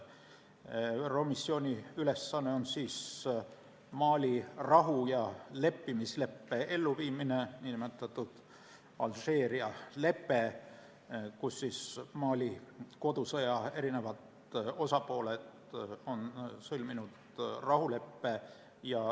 ÜRO missiooni ülesanne on Mali rahu- ja leppimisleppe elluviimine, nn Alžeeria lepe, kus Mali kodusõja eri osapooled on sõlminud rahuleppe.